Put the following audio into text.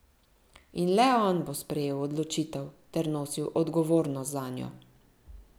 In le on bo sprejel odločitev ter nosil odgovornost zanjo.